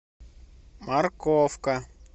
морковка